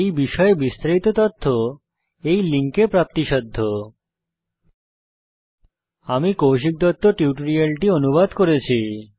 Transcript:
এই বিষয় বিস্তারিত তথ্য এই লিঙ্কে প্রাপ্তিসাধ্য spoken hyphen tutorial dot org slash NMEICT hyphen intro আমি কৌশিক দত্ত এই টিউটোরিয়ালটি অনুবাদ করেছি